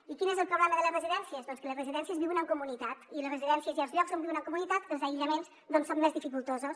i quin és el problema de les residències doncs que les residències viuen en comunitat i a les residències i als llocs on viuen en comunitat els aïllaments són més dificultosos